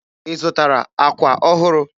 Ị zụtara àkwà ọhụrụ?